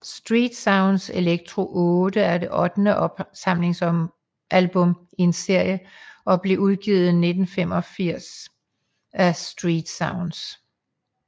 Street Sounds Electro 8 er det ottende opsamlingsalbum i en serie og blev udgivet i 1985 af StreetSounds